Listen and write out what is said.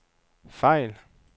fejl